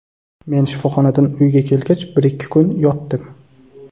Men shifoxonadan uyga kelgach bir-ikki kun yotdim.